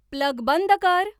plug बंद कर